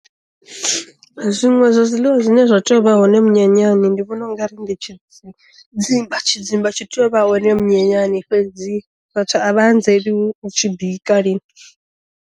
Zwiṅwe zwa zwiḽiwa zwine zwa tea u vha hone minyanyani ndi vhona u nga ri ndi tshi tshidzimba tshidzimba tshi tea u vha hone minyanyani fhedzi vhathu a vha anzeli hu tshi bika lini.